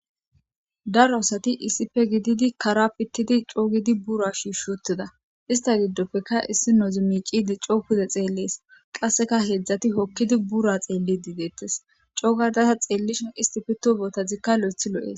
Daro asati iisipe gididi kara pittidi coogidi bura shishotida ista giddopfeka issi noozu miicidi coo pude xeellees qasseka heedzdzati hokkidi bura xeelli diideettes coo gardasa xeellishon isti pito bootazikka lo'ethi lo'ees.